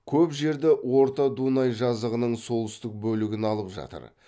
көп жерді орта дунай жазығының солтүстік бөлігін алып жатыр